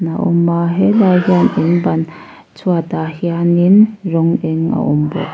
a awm a helai hian in ban chhuatah hianin rawng eng a awm bawk.